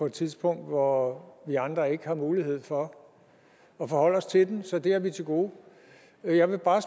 et tidspunkt hvor vi andre ikke har mulighed for at forholde os til den så det har vi til gode jeg vil bare